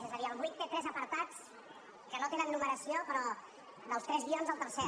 és a dir el vuit té tres apartats que no tenen nu·meració però dels tres guions el tercer